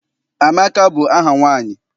Amaka bụ aha nwaanyị.